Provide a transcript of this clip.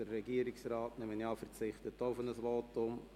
Der Regierungsrat verzichtet auf ein Votum.